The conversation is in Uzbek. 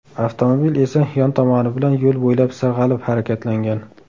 Avtomobil esa yon tomoni bilan yo‘l bo‘ylab sirg‘alib harakatlangan.